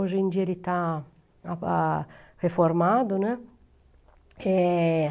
Hoje em dia ele está ah, reformado, né. É...